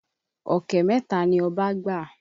Ọ̀kẹ́ mẹ́ta ni ọba gbà.